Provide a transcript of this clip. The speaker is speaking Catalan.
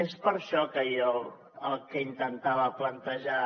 és per això que jo el que intentava plantejar